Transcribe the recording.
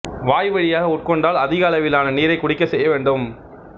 வாய்வழியாக உட்கொண்டால் அதிக அளவிான நீரைக் குடிக்கச் செய்ய வேண்டும்